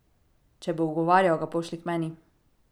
Če bo ugovarjal, ga pošlji k meni.